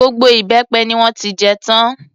Gbogbo ìbẹ́pẹ ni wọ́n ti jẹ tán.